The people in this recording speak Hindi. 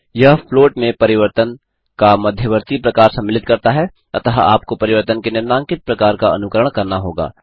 यह फ्लॉट में परिवर्तन का मध्यवर्ती प्रकार सम्मिलित करता है अतः आपको परिवर्तन के निमांकित प्रकार का अनुकरण करना होगा